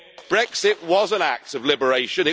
Brexit was an act of liberation.